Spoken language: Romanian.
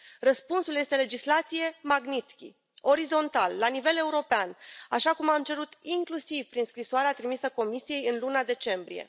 Răspunsul este legislație Magnitsky, orizontal, la nivel european, așa cum am cerut inclusiv prin scrisoarea trimisă Comisiei în luna decembrie.